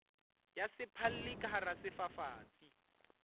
ya sephalli ka hara sefafatsi